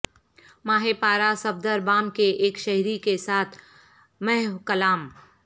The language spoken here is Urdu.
ماہ پارہ صفدر بام کے ایک شہری کے ساتھ محو کلام